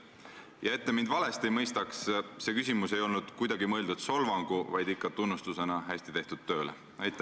Ja et te mind valesti ei mõistaks, siis see küsimus ei olnud kuidagi mõeldud solvanguna, vaid ikka tunnustusena hästi tehtud töö eest.